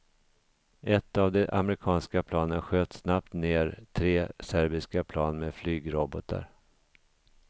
Ett av de amerikanska planen sköt snabbt ned tre serbiska plan med flygrobotar.